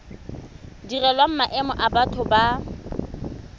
direlwang maemo a batho ba